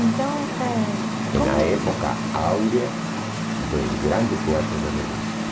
Então, é... como... E na época áurea dos grandes teatros de revista.